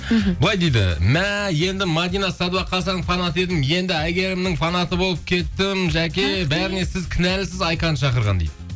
мхм былай дейді мә енді мәдина садуақасованың фанаты едім енді әйгерімнің фанаты болып кеттім жаке бәріне сіз кінәлісіз айканы шақырған дейді